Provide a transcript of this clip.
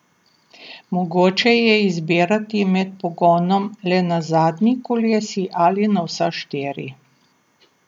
Mogoče je izbirati med pogonom le na zadnji kolesi ali na vsa štiri.